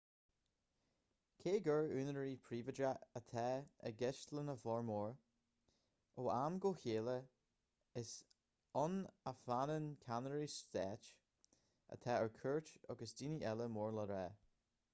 cé gur úinéirí príobháideacha atá i gceist lena bhformhór ó am go chéile is ann a fhanann ceannairí stáit atá ar cuairt agus daoine eile mór le rá